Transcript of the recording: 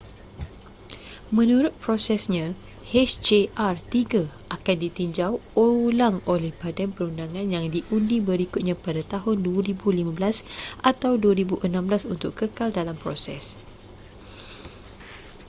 menurut prosesnya hjr-3 akan ditinjau ulang oleh badan perundangan yang diundi berikutnya pada tahun 2015 atau 2016 untuk kekal dalam proses